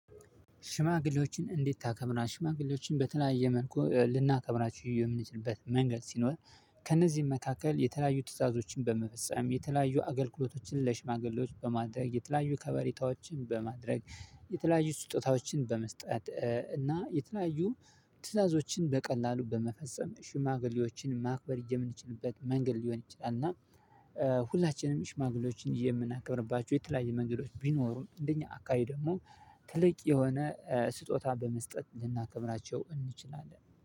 ሽማግሌዎችን እንዴት ታከብራለህ? ሽማግሌዎችን በተለያየ መልኩ ልናከብራችሁ የምንችልበት መንገድ ሲኖር። ከእነዚህም መካከል የተለያዩ ትዕዛዞችን በመፈፀም የተለያዩ አገልግሎቶችን ለሽማግሌዎች በማድረግ የተለያዩ ከበሬታዎችን በማድረግ የተለያዩ ስጦታዎችን በመስጠት እና የተለያዩ ትዕዛዞችን በቀላሉ በመፈጸም ሽማግሌዎችን ማክበር የምችልበት መንገድ ሊሆን ይችላል። እና ሁላችንም ሽማግሌዎችን የምናከብርባቸው የተለያየ መንገዶች ቢኖሩም እንደኛ አካባቢ ደግሞ ትልቅ የሆነ ስጦታ በመስጠት ልናከብራቸው እንችላለን